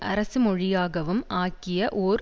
அரசு மொழியாகவும் ஆக்கிய ஓர்